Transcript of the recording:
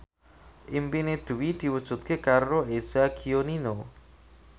impine Dwi diwujudke karo Eza Gionino